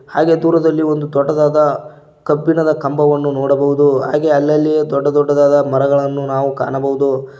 ಹಾಗೆ ದೂರದಲ್ಲಿ ಒಂದು ದೊಡ್ಡದಾದ ಕಬ್ಬಿಣದ ಕಂಬವನ್ನು ನೋಡಬಹುದು ಹಾಗೆ ಅಲ್ಲಲ್ಲಿಯೆ ದೊಡ್ಡ ದೊಡ್ಡ ಮರಗಳನ್ನು ನಾವು ಕಾಣಬಹುದು.